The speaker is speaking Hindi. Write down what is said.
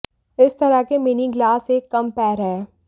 इस तरह के मिनी गिलास एक कम पैर है